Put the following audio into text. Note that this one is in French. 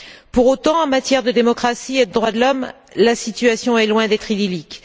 Pour autant, en matière de démocratie et de droits de l'homme, la situation est loin d'être idyllique.